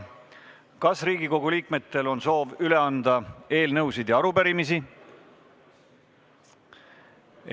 Kas Riigikogu liikmetel on soov üle anda eelnõusid ja arupärimisi?